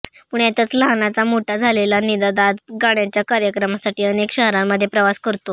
पुण्यातच लहानाचा मोठा झालेला निनाद आज गाण्याच्या कार्यक्रमासाठी अनेक शहरांमध्ये प्रवास करतो